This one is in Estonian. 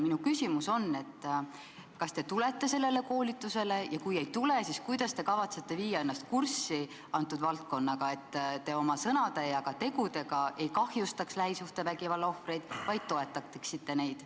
Minu küsimus on see: kas te tulete sellele koolitusele, ja kui ei tule, siis kuidas te kavatsete viia ennast kurssi antud valdkonnaga, et te oma sõnade ja ka tegudega ei kahjustaks lähisuhtevägivalla ohvreid, vaid toetaksite neid.